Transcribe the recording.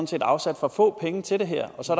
set afsat for få penge til det her og så